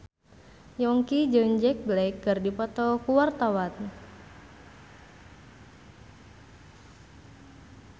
Yongki jeung Jack Black keur dipoto ku wartawan